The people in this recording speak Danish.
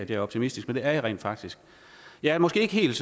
jeg er optimistisk men det er jeg rent faktisk jeg er måske ikke helt